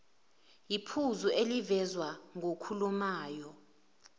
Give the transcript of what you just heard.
iphuzu elivezwa ngokhulumayo